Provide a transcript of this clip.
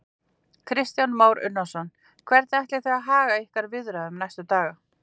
Kristján Már Unnarsson: Hvernig ætlið þið að haga ykkar viðræðum næstu daga?